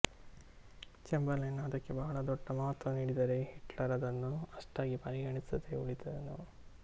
Chamberlain ಅದಕ್ಕೆ ಬಹಳ ದೊಡ್ಡ ಮಹತ್ವ ನೀಡಿದರೆ ಹಿಟ್ಲರ್ ಅದನ್ನು ಅಷ್ಟಾಗಿ ಪರಿಗಣಿಸದೆ ಉಳಿದನು